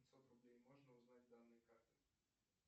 пятьсот рублей можно узнать данные карты